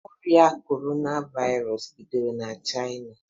Ọria kọrona virụs bidoro na China